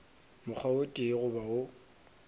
mokgwa o tee goba wo